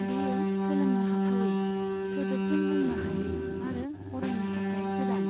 बेयो सोलोंनो हाथावै, सोदोबजों बुंनो हायै आरो अरायनि थाखाय गोदान।